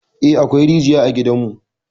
Eh, akwai rijiya a gidanmu.